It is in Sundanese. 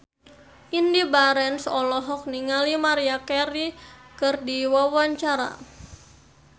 Indy Barens olohok ningali Maria Carey keur diwawancara